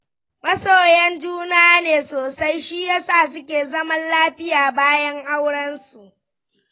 Masoyan juna ne sosai, shi ya sa suke zaman lafiya bayan auensu.